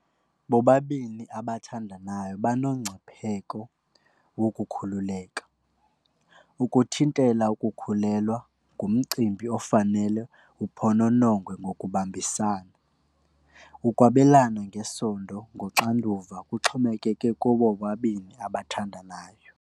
Bobabini abathandanayo banongcipheko wokukhululeka. Ukuthintela ukukhulelwa ngumcimbi ofanele uphononongwe ngokubambisana. Ukwabelana ngesondo nguxanduva kuxhomekeke kubo bobabini abathandanayo.